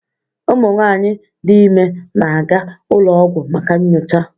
Ụmụ nwanyị dị ime na-aga ụlọ ọgwụ maka nyocha